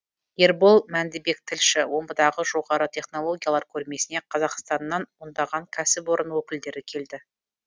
ербол мәндібек тілші омбыдағы жоғары технологиялар көрмесіне қазақстаннан ондаған кәсіпорын өкілдері келді